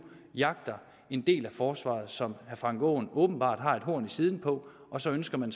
jagter en del af forsvaret som herre frank aaen åbenbart har et horn i siden på og så ønsker man